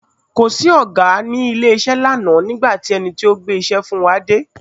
Kò sí Ọ̀gá nílé lánàá nígbà tí ẹni tí ó gbé iṣẹ́ fún wa dé.